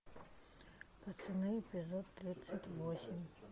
пацаны эпизод тридцать восемь